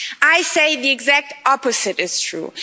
I say the exact opposite is true.